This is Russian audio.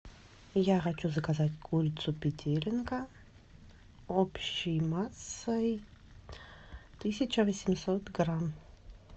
я хочу заказать курицу петелинка общей массой тысяча восемьсот грамм